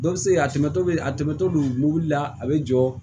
Dɔ bɛ se ka a tɛmɛtɔ bɛ a tɛmɛtɔ don mobili la a bɛ jɔ